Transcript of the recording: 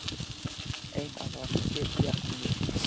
Einara, hringdu í Bjarnnýju.